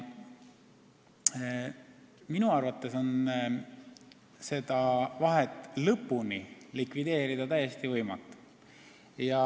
Minu arvates on seda vahet lõpuni likvideerida täiesti võimatu.